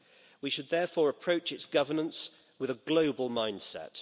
We should therefore approach its governance with a global mindset.